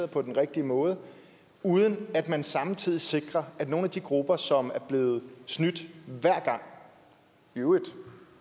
på den rigtige måde uden at man samtidig sikrer at nogle af de grupper som er blevet snydt hver gang i øvrigt